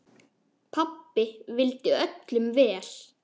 Pabbi vildi öllum vel.